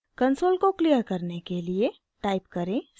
console को clear करने के लिए टाइप करें clc